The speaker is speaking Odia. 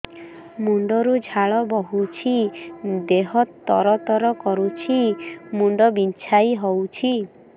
ମୁଣ୍ଡ ରୁ ଝାଳ ବହୁଛି ଦେହ ତର ତର କରୁଛି ମୁଣ୍ଡ ବିଞ୍ଛାଇ ହଉଛି